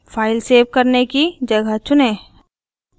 file save करने की जगह चुनें